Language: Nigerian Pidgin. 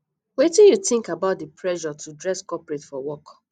wetin you think about di pressure to dress corporate for work